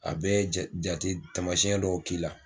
A bɛ jate tamasiyɛn dɔw k'i la